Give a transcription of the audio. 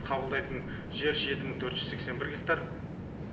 қабылдайтын жер жеті мың төрт жүз сексен бір гектар